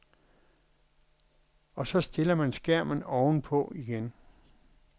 Og så stiller man skærmen oven på igen.